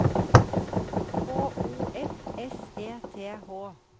H O F S E T H